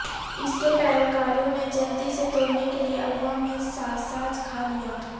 اس کے پیروکاروں نے جلدی سے توڑنے کے لئے عوام میں ساساج کھا لیا